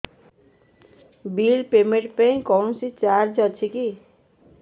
bill payment ପାଇଁ କୌଣସି charge ଅଛି କି